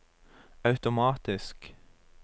automatisk